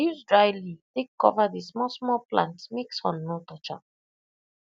use dry leaf take cover the small small plant make sun no touch am